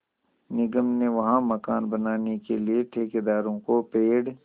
निगम ने वहाँ मकान बनाने के लिए ठेकेदार को पेड़